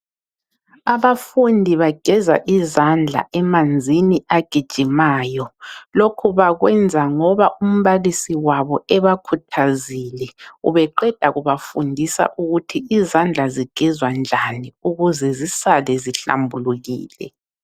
Abafundi bageza izandla emanzini agijimayo. Lokhu bakwenza ngoba umbalisi wabo ebakhuthazile. Ubeqeda kubafundisa ukuthi izandla zigezwa njani ukuze zisale zihlambulukile.